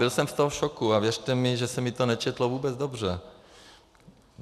Byl jsem z toho v šoku a věřte mi, že se mi to nečetlo vůbec dobře.